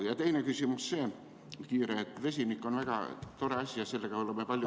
Ja teine kiire küsimus on see, et vesinik on väga tore asi ja sellega oleme palju ...